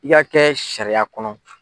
I y'a kɛ sariya kɔnɔ.